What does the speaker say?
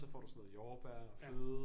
Så får du sådan noget jordbær og fløde